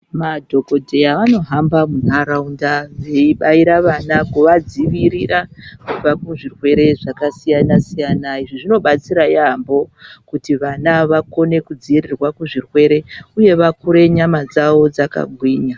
Madhokodheya vanohamba munharaunda veibaira vana kuvadzivirira kubva kuzvirwere zvakasiyana -siyana, izvi zvinobatsira yaamho kuti vana vakone kudziirirwa kubva kuzvirwere uye vakure nyama dzawo dzakagwinya.